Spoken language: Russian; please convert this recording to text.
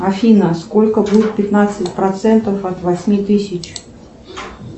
афина сколько будет пятнадцать процентов от восьми тысяч